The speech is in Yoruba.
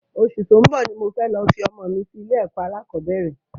Osù tó ń bò ní mo fẹ́ lọ fi ọmọ mi sí ilé ẹ̀kọ́ alákọ̀bẹ́rẹ̀